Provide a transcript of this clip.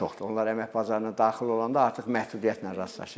Onlar əmək bazarına daxil olanda artıq məhdudiyyətlə rastlaşır.